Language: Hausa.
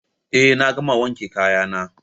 Eh na gama wanke kaya na